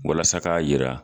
Walasa ka yira